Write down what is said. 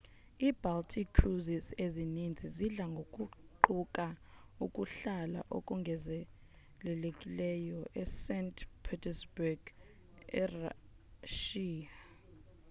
i-baltic cruises ezininzi zidla ngokuquka ukuhlala okongezelelekileyo e-st petersburg erashiya